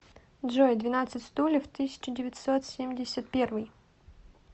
джой двенадцать стульев тысяча девятьсот семьдесят первый